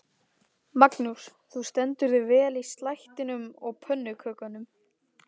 Magnús: Þú stendur þig vel í slættinum og pönnukökunum?